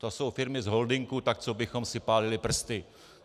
To jsou firmy z holdingu, tak co bychom si pálili prsty.